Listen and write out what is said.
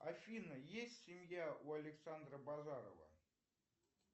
афина есть семья у александра базарова